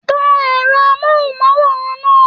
Tan ẹrọ amohunmaworan náà.